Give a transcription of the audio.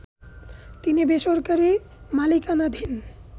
তিনটি বেসরকারি মালিকানাধীন